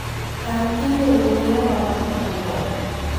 kan imel ne ng'ama watudre godo.